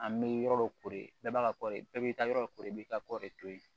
An bɛ yɔrɔ dɔ ko de bɛɛ b'a ka kɔ de bɛɛ b'i ka yɔrɔ kori i b'i ka kɔɔri to yen